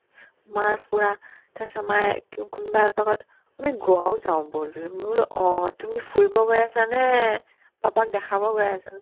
মাৰ পূৰা তাৰপিছত মায়ে কো ~ কোনোবা একপাকত আমি ঘৰ যাও ব'ল বোলো মই বোলো অ তুমি ফুৰিব গৈ আছানে papa ক দেখাব গৈ আছা